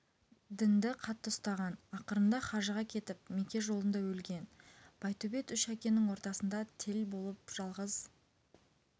дінді қатты ұстаған ақырында хажыға кетіп меке жолында өлген байтөбет үш әкенің ортасында тел боп жалғыз